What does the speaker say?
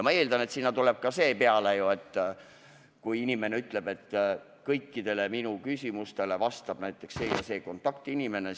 Ma eeldan, et sinna tuleb peale ka see, kui inimene on öelnud, et kõikidele minu küsimustele vastab näiteks see konkreetne kontaktinimene.